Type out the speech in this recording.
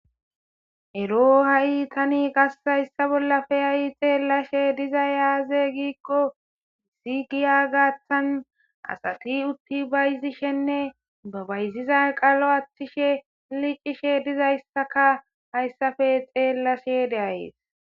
Ero ha'i tani qase hayssa bolla tani xeelashe dizayssi azee?giza giddiko issi giya gaththan bayzishenne ba bayziza iiqa giggissishene liqishe dizayssa xeelashe de'ayssi.